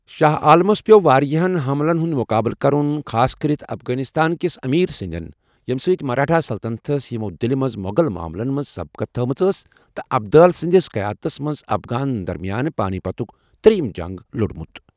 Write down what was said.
شاہ عالمس پییو٘ وارِیاہن حملن ہُند مُقابلہٕ كرُن ،خاصكرِتھ افغانِستان كِس امیر سندین ، ییمہِ سٕتہِ مراٹھا سلطنتس ،ِیِمو٘ دِلہِ منز موٕٛغل معملن پیٹھ سبقت تھومٕژ ٲس تہٕ ابدالی سندِس قیادتس منز افغانن درمِیان پانی پتُك تر٘ییِم جنگ لوڈمُت ۔